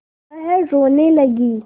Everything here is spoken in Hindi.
वह रोने लगी